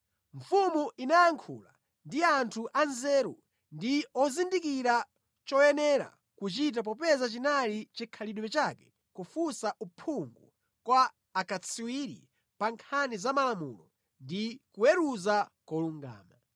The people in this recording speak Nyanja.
Mfumu inayankhula ndi anthu anzeru ndi ozindikira choyenera kuchita popeza chinali chikhalidwe chake kufunsa uphungu kwa akatswiri pa nkhani za malamulo ndi kuweruza kolungama.